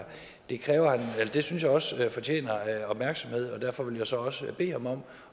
synes jeg også fortjener opmærksomhed og derfor vil jeg så også bede ham om